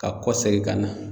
Ka kɔsegin ka na.